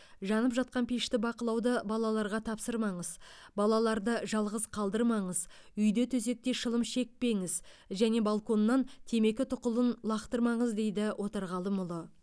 жанып жатқан пешті бақылауды балаларға тапсырмаңыз балаларды жалғыз қалдырмаңыз үйде төсекте шылым шекпеңіз және балконнан темекі тұқылын лақтырмаңыз дейді отарғалымұлы